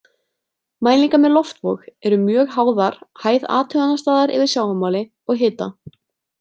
Mælingar með loftvog eru mjög háðar hæð athugunarstaðar yfir sjávarmáli og hita.